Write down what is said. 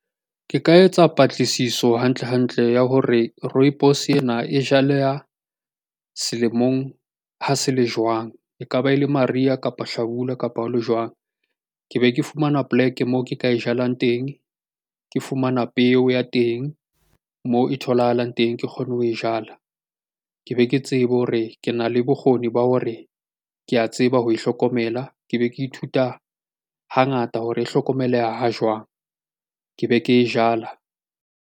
Ke ka etsa patlisiso hantle hantle ya hore rooibos ena e jaleha selemong ha se le jwang ekaba e le mariha kapa hlabula kapa ha o le jwang. Ke be ke fumana poleke moo ke tla e jalang teng ke fumana peo ya teng moo e tholahalang teng ke kgone ho e jala. Ke be ke tsebe hore ke na le bokgoni ba hore ke ya tseba ho hlokomela. Ke be ke ithuta hangata hore e hlokomeleha jwang ke be ke e jala ka.